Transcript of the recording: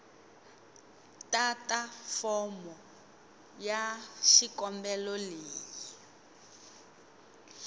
tata fomo ya xikombelo leyi